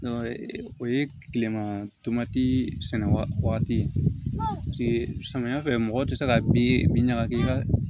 O ye tilema sɛnɛ waati ye samiyɛ fɛ mɔgɔ tɛ se ka bin ɲagaki ka